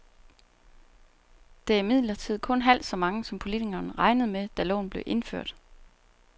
Det er imidlertid kun halvt så mange, som politikerne regnede med, da loven blev indført.